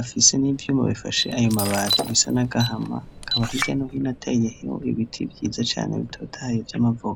afise n'ivyuma bifashe ayo mabati bisa n'agahama bikaba hirya no hino ateyemwo ibiti vyiza cane bitotahaye vy'amavoka.